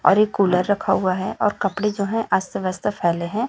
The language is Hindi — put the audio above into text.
और एक कूलर रखा हुवा है और कपड़े जो है अस्त वस्त फैले हैं।